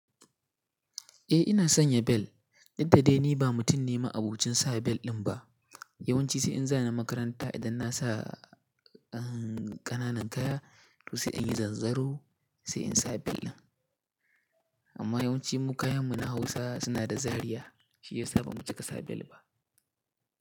Eh ina sanya bel. Dauk da dai ni ba mutum ne ma'abocin sa bel din ba. Yawan ci sai in za ni makaranta idan na sa, eh, kananan kaya to sai in yi zanzaro sai in sa bel din. Amma yawanci mu kayan mu na Hausa suna da zariya shi yasa ba mu cika sa bel ba.